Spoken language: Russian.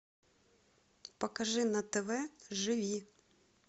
покажи на тв живи